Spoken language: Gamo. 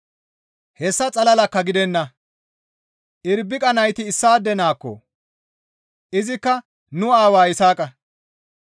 Hessa xalalakka gidenna; Irbiqa nayti issaade naakko! Izikka nu aawaa Yisaaqa.